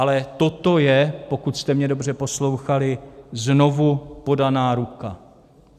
Ale toto je, pokud jste mě dobře poslouchali, znovu podaná ruka.